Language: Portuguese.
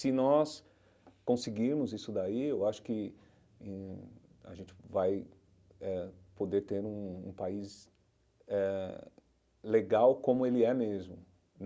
Se nós conseguirmos isso daí, eu acho que hum a gente vai eh poder ter um um país eh legal como ele é mesmo.